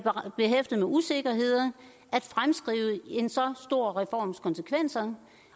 behæftet med usikkerheder at fremskrive en så stor reforms konsekvenser